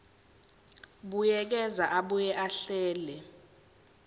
buyekeza abuye ahlele